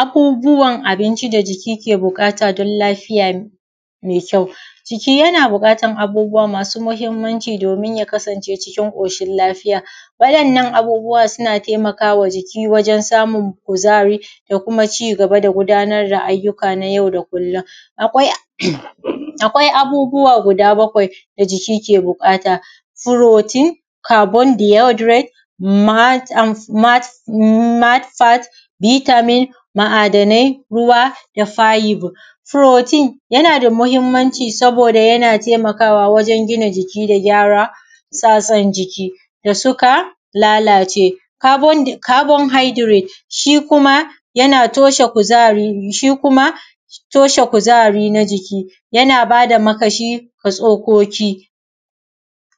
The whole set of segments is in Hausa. Abubuwan abinci da jiki yake buƙata don lafiya me kyau. Jiki yana buƙatan abubuwa masu mahinmanci domin ya kasance cikin ƙoshin lafiya waɗannan abubuwa suna taimakama jiki wajen samun kuzari da kuma ci gaba da gudanar da ayyuka na yau da kullum. Akwai abubuwa guda bakwai da jiki ke buƙata furotin, kabon diodiret, mat mat, an fat, bitamin, ma’adanai ruwa da faibo, furotin yana da mahinmanci saboda yana taimakawa wajen gina jiki da gyara sasan jiki da suka lalace, kabon haidiret shi kuma yana toshe kuzari ne shi kuma toshe kuzari na jiki yana bada makamashi ga tsokoki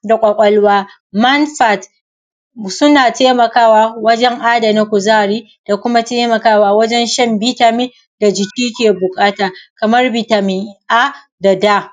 da kwakwalwa, mansat suna taimakawa wajen adana kuzari da kuma taimakawa wajen shan bitamin da jiki ke buƙata kaman bitamin, a da da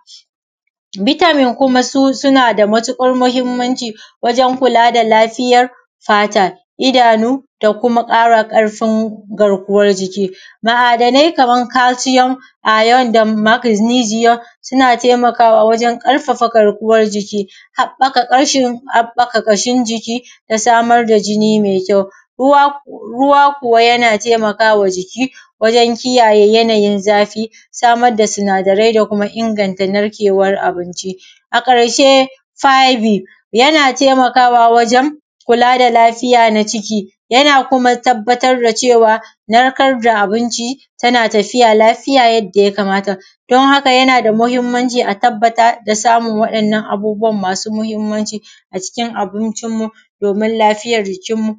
bitamin kuma su suna da matuƙar mahinmanci wajen kula da lafiyar fata, idanu da kuma ƙara ƙarfin garkuwan jiki, ma’adanai kaman kalshiyom, ayon da magnijiyom suna taimakawa wajen ƙarfafa garkuwan jiki, haɓɓaka ƙashin jiki da samar da jini me kyau, ruwa kuwa yana taimaka ma jiki wajen kiyaye yanayin zafi samar da sinadarai da kuma inganta narkewan abinci. A ƙarshe faibi yana taimkawa wajen kula da lafiya na jiki, yana kuma tabbatar da cewa nakar da abinci tana tafiya lafiya yadda ya kamata don haka yana da mahinmanci a tabbata da samun waɗannan abubuwan masu muhinmanci a cikin abincin mu domin lafiyar jikin mu.